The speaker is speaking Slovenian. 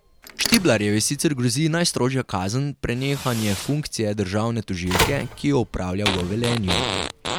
Štiblarjevi sicer grozi najstrožja kazen, prenehanje funkcije državne tožilke, ki jo opravlja v Velenju.